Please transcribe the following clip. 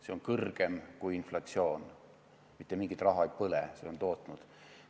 See on kõrgem kui inflatsioon, mitte mingit raha põlemist ei ole, süsteem on raha tootnud.